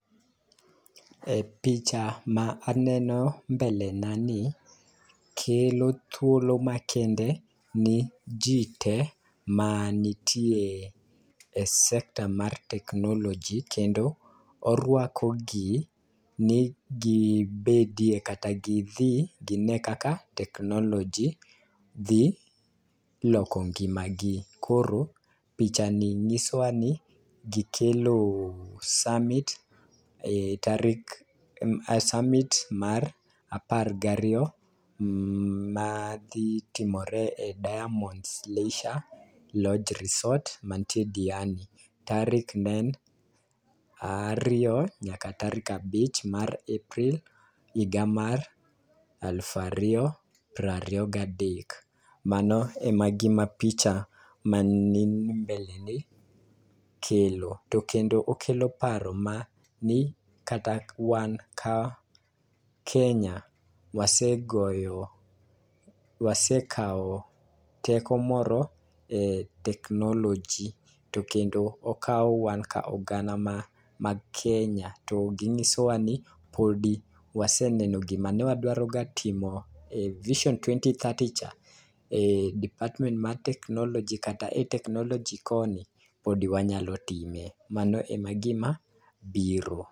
E picha ma aneno mbele na ni kelo thuolo makende ni jii te manitie e sector mar technology kendo orwako gi ni gi bedie kata gidhi gine kaka technology dhi loko ngima gi. Koro picha ni nyiso wa ni gikelo summit e tarik summit mar apar gi ariyo madhi timore e diamonds leisure lodge resort manyie diani tarik ma en tarik ariyo nyaka tarik abich mar April higa mar alufu ariyo pra riyo gadek. Mano ema gima picha mani ni e mbele ni kelo .To kendo okelo paro ma ni kata wan ka kenya, wasegoyo wasekawo teko moro e technology to kendo okawo wa kaka oganda ma ma kenya to ging'iso wa ni podi .Waseneno ni wadro ga timo e vison twenty thirty cha department mar technology kata e technology koni pod wanyalo time , mano e gima biro.